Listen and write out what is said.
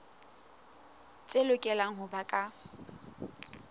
tse lokelang ho ba ka